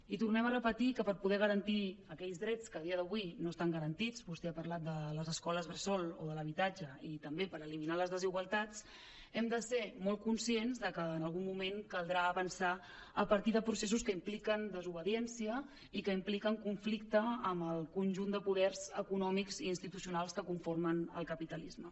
i tornem a repetir que per poder garantir aquells drets que a dia d’avui no estan garantits vostè ha parlat de les escoles bres·sol o de l’habitatge i també per eliminar les desigualtats hem de ser molt conscients de que en algun moment caldrà avançar a partir de processos que impliquen desobe·diència i que impliquen conflicte amb el conjunt de poders econòmics i institucionals que conformen el capitalisme